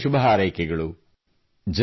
ನಿಮಗೆ ಅನಂತ ಶುಭ ಹಾರೈಕೆಗಳು